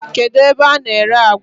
Kedụ ebe a na-ere àgwà?